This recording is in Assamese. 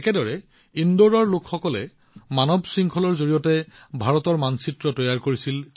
একেদৰে ইন্দোৰৰ লোকসকলে মানৱ শৃংখলাৰ জৰিয়তে ভাৰতৰ মানচিত্ৰ তৈয়াৰ কৰিছিল